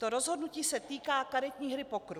To rozhodnutí se týká karetní hry pokeru.